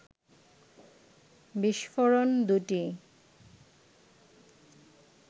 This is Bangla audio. বিস্ফোরণ দুটি